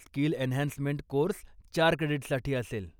Skill enhancement course चार क्रेडीट्ससाठी असेल.